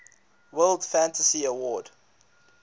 world fantasy award